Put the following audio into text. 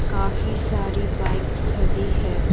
काफी सारी बाइक्स खदी है।